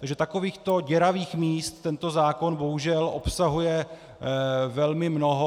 Takže takovýchto děravých míst tento zákon bohužel obsahuje velmi mnoho.